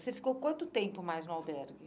Você ficou quanto tempo mais no albergue?